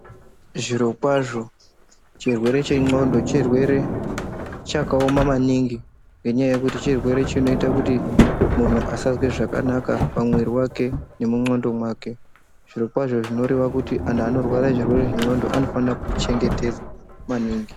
Zviro kwazvo chirwere che ndxondo chirwere chaka oma maningi ngenya yekuti chirwere chinoita kuti munhu asazwe zvakanaka pa mwiri wake nemu ndxondo zviro kwazvo zvinoreva kuti anhu ano rwara zvirwere zve ndxondo anofana ku chengetedzetwa maningi.